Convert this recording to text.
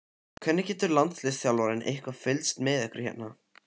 Hvernig getur landsliðsþjálfarinn eitthvað fylgst með ykkur hérna?